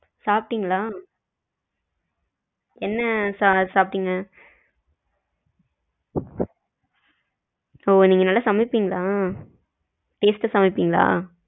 சாப்பிட்டீங்களா என்ன சாப்பிட்டீங்க? ஓ நீங்க நல்ல சமைப்பீங்களா taste அ சமைப்பீங்களா?